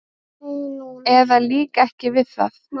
eða líka ekki við það.